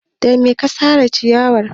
Da me ka sare ciyarwar nan?